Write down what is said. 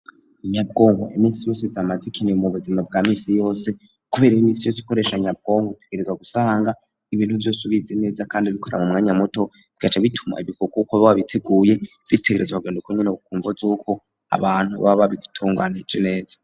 Inyabwongo imisi yose zamazi ikiniye mu buzima bwa misi yose, kubera imisi yose ikoresha nyabwongo itegerezwa gusanga ibintu vyos ubize neza ,kandi bikora mu mwanya muto ,bigaca bituma ibikorwa ukora biba biteguye bitegerezwa kugenda ukonyene, bukumvo z'uko abantu baba babitunganije neza.